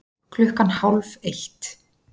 Klukkan hálf eitt